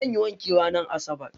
Zan yi wanki ranar asabar.